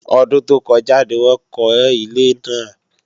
Ọdún tó kọjá ni wọ́n kọ́ ilé náà